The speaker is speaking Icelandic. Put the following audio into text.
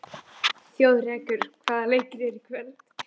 Þjóðrekur, hvaða leikir eru í kvöld?